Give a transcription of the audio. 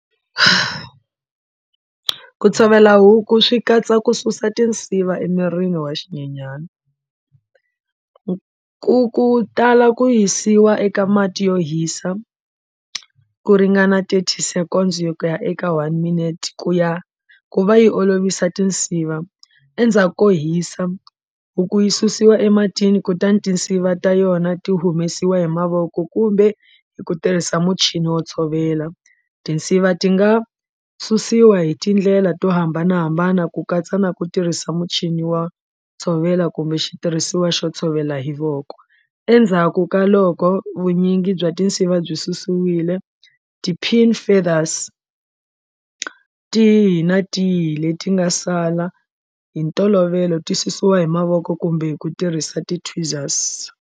Ku tshovela huku swi katsa ku susa tinsiva emirini wa xinyenyani ku ku tala ku yisiwa eka mati yo hisa ku ringana thirty seconds yo ku ya eka one minute ku ya ku va yi olovisa tinsiva endzhako hisa huku yi susiwa ematini kutani tinsiva ta yona ti humesiwa hi mavoko kumbe hi ku tirhisa muchini wo tshovela tinsiva ti nga susiwa hi tindlela to hambanahambana ku katsa na ku tirhisa muchini wa tshovela kumbe xitirhisiwa xo tshovela hi voko endzhaku ka loko vunyingi bya tinsiva byi susile ti-pin feathers tihi na tihi leti nga sala hi ntolovelo ti susiwa hi mavoko kumbe hi ku tirhisa .